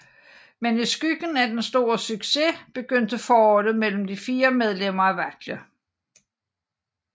Men i skyggen af den store succes begyndte forholdet mellem de fire medlemmer at vakle